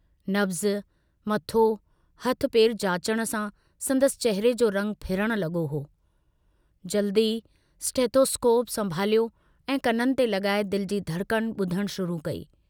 नब्ज़, मथो, हथ पेर जाचण सां संदसि चहिरे जो रंगु फिरण लगो हो, जल्दु ई स्टेथोस्कोप संभालियो ऐं कननि ते लगाए दिल जी धड़कन बुधणु शुरू कई।